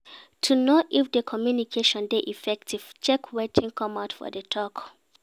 To know if di communication de effective check wetin come out for di talk